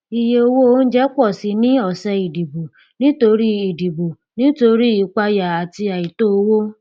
iye owó oúnjẹ pọ síi ní ọsẹ ìdìbò nítorí ìdìbò nítorí ìpayà àti àìtó owó